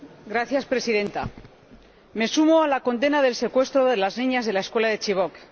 Señora Presidenta, me sumo a la condena del secuestro de las niñas de la escuela de Chibok.